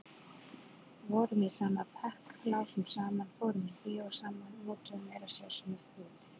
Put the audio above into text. Vorum í sama bekk, lásum saman, fórum í bíó saman, notuðum meira segja sömu fötin.